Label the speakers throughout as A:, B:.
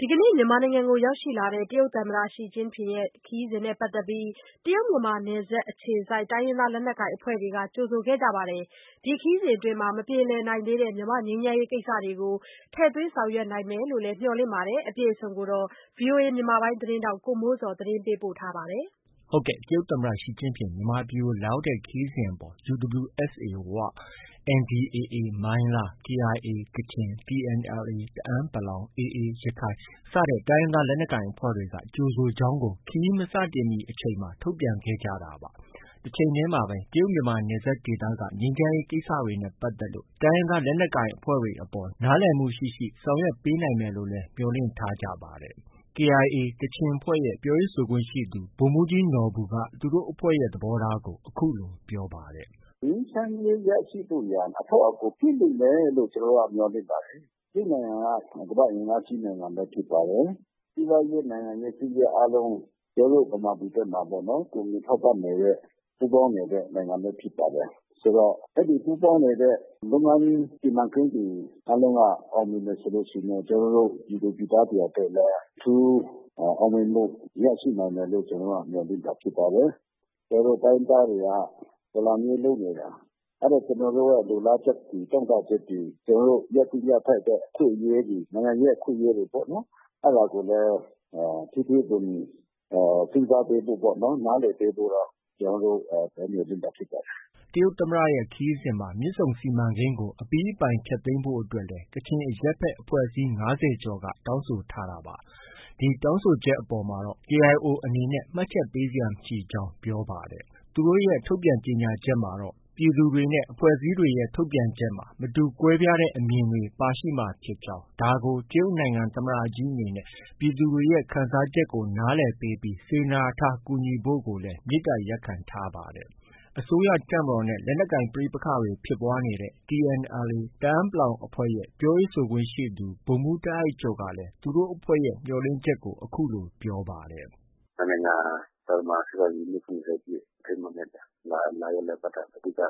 A: ဒီကနေ့ မြန်မာနိုင်ငံကို ရောက်ရှိလာတဲ့ တရုတ်သမ္မတXi Jinping ရဲ့ခရီးစဉ်နဲ့ပတ်သက်ပြီး တရုတ်-မြန်မာနယ်စပ်အခြေစိုက် တိုင်းရင်းသားလက်နက်ကိုင်အဖွဲ့တွေက ကြိုဆိုခဲ့ကြပြီး ဒီခရီးစဉ်အတွင်းမှာ မပြေလည်သေးတဲ့ ငြိမ်းချမ်းရေးကိစ္စတွေကို ထည့်သွင်းဆောင်ရွက်နိုင်မယ်လို့ မျှော်လင့်ထားကြပါတယ်။ ဒီသတင်းကိုတော့ ဗွီအိုအေမြန်မာပိုင်းသတင်းထောက် ကိုမိုးဇော်က တင်ပြထားပါတယ်။ တရုတ်သမ္မတ Xi Jinping မြန်မာနိုင်ငံကို လာရောက်တဲ့ခရီးစဉ်အပေါ် UWSA “ဝ”၊ NDAA မိုင်းလား၊KIAကချင်၊ TNLA တအန်း ၊AAရခိုင်စတဲ့အဖွဲ့တွေက ကြိုဆိုကြောင်းကို ခရီးမစတင်မီအချိန်မှာ ထုတ်ပြန်ခဲ့ကြတာပါ။ တချိန်တည်းမှာပဲ တရုတ်-မြန်မာနယ်စပ်ဒေသက ငြိမ်းချမ်းရေးကိစ္စရပ်တွေနဲ့ပတ်သက်လို့တိုင်းရင်းသား လက်နက်ကိုင်အဖွဲ့တွေအပေါ် နားလည်မှုရှိရှိ ဆောင်ရွက်ပေးနိုင်မယ်လို့လည်း မျှော်လင့်ထားကြပါတယ်။ KIA ကချင်အဖွဲ့ရဲ့ ပြောရေးဆိုခွင့်ရှိသူ ဗိုလ်မှုးကြီးနော်ဘူက သူတို့အဖွဲ့ရဲ့ သဘောထားကို အခုလို ပြောပါတယ်။
B: “ ငြိမ်းချမ်းရေးရရှိဖို့ရာ အထောက်အကူဖြစ်လိမ့်မယ်လို့ ကျနော်တို့က မျှော်လင့်ပါတယ်။ တရုတ်နိုင်ငံက ကမ္ဘာ့အင်အားကြီးနိုင်ငံလည်းဖြစ်ပါတယ်။ စီးပွားရေး၊ နိုင်ငံရေး၊ စစ်ရေးအားလုံး ကျနော်တို့ ဗမာပြည်ဘက်မှာ ကူညီထောက်ပံ့နေတဲ့ ပူးပေါင်းနေတဲ့ နိုင်ငံလည်း ဖြစ်ပါတယ်။ ဆိုတော့ အဲဒီ ပူးပေါင်းနေတဲ့ လုပ်ငန်းစီမံကိန်းတွေအားလုံးက အောင်မြင်တယ်ဆိုရင်တော့ ကျနော်တို့ ပြည်သူပြည်သားတွေအတွက်လည်း အထူး အောင်မြင်မှုရရှိနိုင်မယ်လို့ ကျနော်တို့က မျှော်လင့်တာဖြစ်ပါတယ်။ ကျနော်တို့ တိုင်းရင်းသားတွေက တော်လှန်ရေးလုပ်နေတာ အဲဒီကျနော်တို့ လိုလားချက်တွေ၊ တောင့်တချက်တွေ၊ ကျနော်တို့ ရသင့်ရထိုက်တဲ့ အခွင့်အရေးတွေ၊ နိုင်ငံရေးအခွင့်အရေးတွေပေါ့။ အဲဒါတွေလည်း ထဲထဲဝင်ဝင် စဉ်းစားပေးဖို့ပေါ့။ နားလည်ပေးဖို့ ကျနော်တို့ မျှော်လင့်တာဖြစ်ပါတယ်
A: ။” တရုတ်သမ္မတရဲ့ ခရီးစဉ်မှာ မြစ်ဆုံစီမံကိန်းကို အပြီးအပိုင်ဖျက်သိမ်းဖို့အတွက်လည်း ကချင်အရပ်ဘက် အဖွဲ့အစည်း ၅၀ကျော်က တောင်းဆိုထားတာပါ။ ဒီတောင်းဆိုချက်အပေါ်မှာတော့ KIO အနေနဲ့ မှတ်ချက် ပေးစရာ မရှိကြောင်း ပြောပါတယ်။ သူတို့ရဲ့ ထုတ်ပြန်ကြေညာချက်မှာတော့ ပြည်သူတွေနဲ့ အဖွဲ့အစည်းတွေရဲ့ ထုတ်ပြန်ချက်မှာ မတူကွဲပြားတဲ့ အမြင်တွေ ပါရှိမှာဖြစ်ကြောင်း၊ ဒါကို တရုတ်နိုင်ငံ သမ္မတကြီးအနေနဲ့ ပြည်သူတွေရဲ့ ခံစားချက်ကို နားလည်ပေးပြီး စေတနာထားကူညီဖို့ကိုလည်း မေတ္တာ ရပ်ခံထားပါတယ်။ အစိုးရတပ်မတော်နဲ့ လက်နက်ကိုင်ပဋိပက္ခတွေ ဖြစ်ပွားနေတဲ့ TNLA တအန်း လက်နက်ကိုင်အဖွဲ့ရဲ့ ပြောရေးဆိုခွင့်ရှိသူ ဗိုလ်မှုးတားအိုက်ကျော်ကလည်း သူတို့အဖွဲ့ရဲ့ မျှော်လင့်ချက်ကို အခုလို ပြောဆိုပါတယ်။
C: “ နှစ်နိုင်ငံ သံတမန် ဆက်ဆံရေးနှစ်၇၀ပြည့်အထိမ်းအမှတ်နဲ့ လာရောက်လည်ပတ်တာ အဓိက ဖြစ်တာ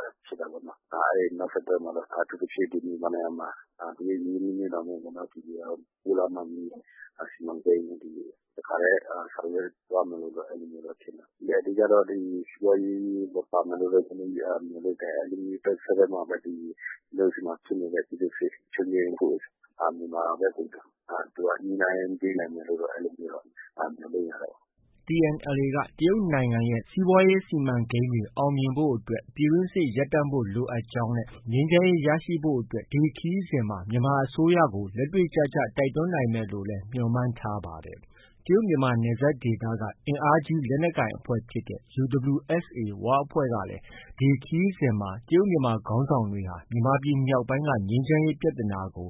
C: ပေါ့နော်။ အဲဒီနောက်ဆက်တွဲမှာတော့ အထူးသဖြင့် မြန်မာနိုင်ငံမှာ တရုတ်ရင်းနှီးမြုပ်နှံမှု ဒီပိုးလမ်းမကြီး တို့ ဒီတစ်ခါတည်းဆောင်ရွက်သွားမယ်လို့တော့ ကျနော်တို့ ထင်တာပေါ့။ အဓိကတော့ စီးပွားရေးလည်း ပါမယ်လို့တော့ အဓိက မျှော်လင့်တယ်။ တဆက်တည်းမှာပဲ ကျနော်တို့ဆီမှာဖြစ်နေတဲ့ ပြည်တွင်းစစ် ချုပ်ငြိမ်းဖို့ မြန်မာဘက်ကို သူက ညှိနှိုင်းပေးနိုင်မယ်လို့ အဲလိုမျိုးတော့ မျှော်လင့်ရတာပေါ့။”
A: TNLAက တရုတ်နိုင်ငံရဲ့ စီးပွားရေးစီမံကိန်းတွေ အောင်မြင်ဖို့အတွက် ပြည်တွင်းစစ်ရပ်တန့်ဖို့လိုအပ်ကြောင်းနဲ့ငြိမ်းချမ်းရေးရရှိဖို့အတွက် ဒီခရီးစဉ်မှာ မြန်မာအစိုးရကို လက်တွေ့ကျကျ တိုက်တွန်းနိုင်မယ်လို့လည်း မျှော်မှန်းထားပါတယ်။ တရုတ်-မြန်မာနယ်စပ်က အင်အားကြီး လက်နက်ကိုင်အဖွဲ့ဖြစ်တဲ့ UWSA “ဝ”အဖွဲ့ကလည်း ဒီခရီးစဉ်မှာ တရုတ်-မြန်မာခေါင်းဆောင်တွေဟာ မြန်မာပြည်မြောက်ပိုင်းက ငြိမ်းချမ်းရေးပြဿနာကို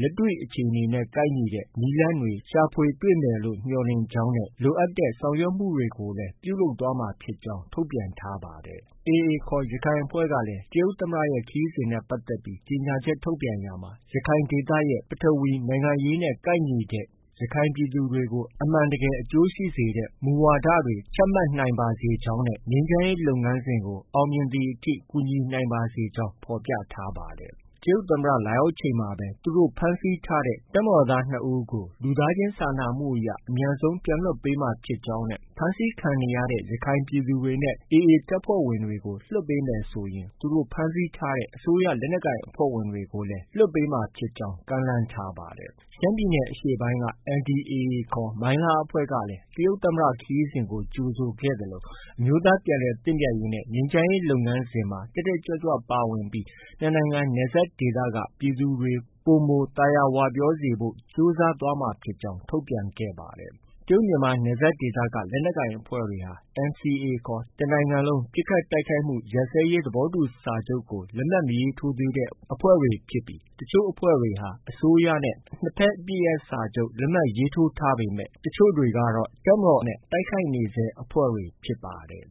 A: လက်တွေ့အခြေ အနေနဲ့ ကိုက်ညီတဲ့ နည်းလမ်းတွေ ရှာဖွေ တွေ့မယ်လို့ မျှော်လင့်ကြောင်းနဲ့ လိုအပ်တဲ့ဆောင်ရွက်မှုတွေကို လည်း ပြုလုပ်သွားမှာဖြစ်ကြောင်း ထုတ်ပြန်ထားပါတယ်။ AA ခေါ် ရခိုင်အဖွဲ့ကလည်း တရုတ်သမ္မတရဲ့ ခရီးစဉ်နဲ့ပတ်သက်ပြီး ကြေညာချက် ထုတ်ပြန်ရာမှာ ရခိုင်ဒေသမှာ ပထဝီနိုင်ငံရေးနဲ့ ကိုက်ညီတဲ့၊ ရခိုင်ပြည်သူတွေကို အမှန်တကယ်အကျိုးရှိစေမယ့် မူဝါဒတွေ ချမှတ်နိုင်ပါစေ ကြောင်းနဲ့ ငြိမ်းချမ်းရေးလုပ်ငန်းစဉ်ကို အောင်မြင်သည်အထိ ကူညီနိုင်ပါစေကြောင်း ဖော်ပြထားပါတယ်။ တရုတ်သမ္မတလာရောက်ချိန်မှာပဲ သူတို့ ဖမ်းဆီးထားတဲ့ တပ်မတော်သား ၂ဦးကို လူသားချင်းစာနာမှုအရ အမြန်ဆုံးပြန်လွှတ်ပေးမှာဖြစ်ကြောင်းနဲ့ ဖမ်းဆီးခံနေရတဲ့ ရခိုင်ပြည်သူတွေနဲ့ AA တပ်ဖွဲ့ဝင်တွေကို လွှတ်ပေးမယ်ဆိုရင် သူတို့ ဖမ်းဆီးထားတဲ့ အစိုးရလက်နက်ကိုင်အဖွဲ့ဝင်တွေကိုလည်း လွှတ်ပေးမှာဖြစ်ကြောင်း ကမ်းလှမ်းထားပါတယ်။ ရှမ်းပြည်နယ်အရှေ့ပိုင်းက NDAAခေါ် မိုင်းလား အဖွဲ့ကလည်း တရုတ်သမ္မတခရီးစဉ်ကို ကြိုဆိုခဲ့သလို အမျိုးသားပြန်လည်သင့်မြတ်ရေးနဲ့ ငြိမ်းချမ်းရေးလုပ်ငန်းစဉ်မှာ တက်တက်ကြွကြွပါဝင်ပြီး နှစ်နိုင်ငံနယ်စပ်ဒေသက ပြည်သူတွေ ပိုမိုသာယာဝပြောစေဖို့ ကြိုးစားသွားမှာဖြစ်ကြောင်း ထုတ်ပြန်ခဲ့ပါတယ်။ တရုတ်-မြန်မာနယ်စပ်ဒေသက လက်နက်ကိုင်အဖွဲ့တွေဟာ NCA ခေါ် တစ်နိုင်ငံလုံးပစ်ခတ်တိုက်ခိုက်မှုရပ်စဲရေး သဘောတူစာချုပ်ကို လက်မှတ်မရေးထိုးသေးတဲ့အဖွဲ့တွေဖြစ်ပြီး တချို့အဖွဲ့တွေဟာ အစိုးရနဲ့ နှစ်ဘက်အပစ်ရပ်စာချုပ်လက်မှတ်ရေးထိုးထားပေမဲ့ တချို့တွေကတော့ အစိုးရတပ်မတော်နဲ့ တိုက်ခိုက်နေဆဲအဖွဲ့တွေ ဖြစ်ပါတယ်။